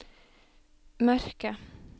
mørke